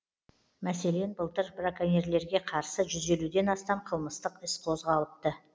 мәселен былтыр браконьерлерге қарсы жүз елуден астам қылмыстық іс қозғалыпты